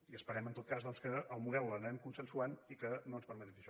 i esperem en tot cas doncs que el model l’anem consensuant i que no ens permeti fer això